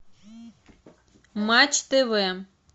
матч тв